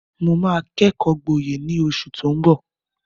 Mo máa kẹ́kọ̀ọ́ gboyè ní oṣù tó ń bọ̀.